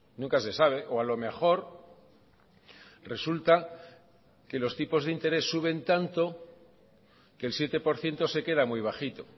nunca se sabe o a lo mejor resulta que los tipos de interés suben tanto que el siete por ciento se queda muy bajito